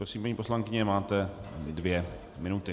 Prosím, paní poslankyně, máte dvě minuty.